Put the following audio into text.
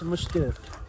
64.